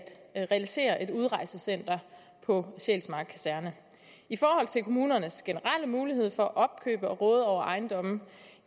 realisere et udrejsecenter på sjælsmark kaserne i forhold til kommunernes generelle mulighed for at opkøbe og råde over ejendomme kan